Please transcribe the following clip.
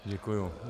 Děkuji.